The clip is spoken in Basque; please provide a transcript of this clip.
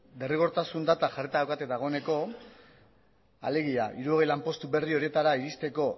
derrigotarsun data jarrita daukate dagoeneko alegia hirurogei lanpostu berri horietara iristeko